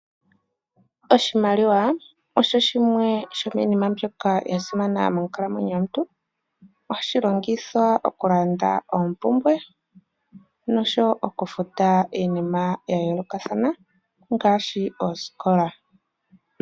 Oshimaliwa osho shimwe shomiinima mbyoka ya simana monkalamwenyo yomuntu. Ohashi longithwa okulanda oompumbwe, noshowo okufuta iinima ya yoolokathana, ngaashi osikola.